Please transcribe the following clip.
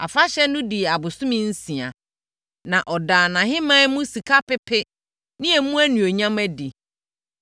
Afahyɛ no dii abosome nsia, na ɔdaa nʼahemman mu sika pepe ne emu animuonyam adi.